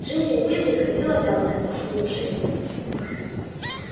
джинни уизли ходила вялая осунувшаяся